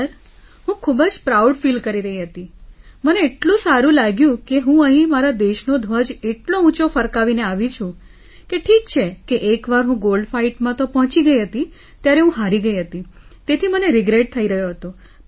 sir હું ખૂબ જ પ્રાઉડ ફીલ કરી રહી હતી મને એટલું સારું લાગ્યું કે હું અહીં મારા દેશનો ધ્વજ એટલો ઊંચો ફરકાવીને આવી છું કે ઠીક છે કે એકવાર હું ગોલ્ડ Fightમાં પહોંચી ગઇ હતી ત્યારે હું હારી ગઇ હતી તેથી મને રિગ્રેટ થઈ રહ્યો હતો